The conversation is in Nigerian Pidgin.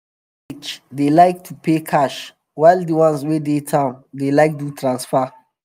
customers for village market dey like to pay cash while di ones wey dey dey town dey like do transfer.